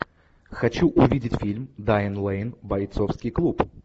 хочу увидеть фильм дайан лейн бойцовский клуб